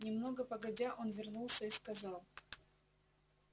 немного погодя он вернулся и сказал